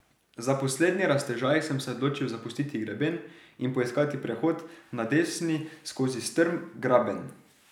Za poslednji raztežaj sem se odločil zapustiti greben in poiskati prehod na desni skozi strm graben.